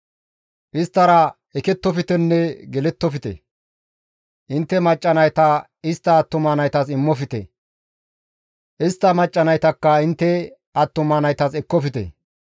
Isttara ekettoftenne gelettofte; intte macca nayta istta attuma naytas immofte; istta macca naytakka intte attuma naytas ekkofte.